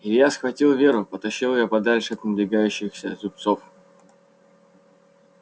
илья схватил веру потащил её подальше от надвигающихся зубцов